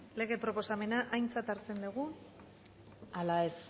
lege proposamena aintzat hartzen dugun ala ez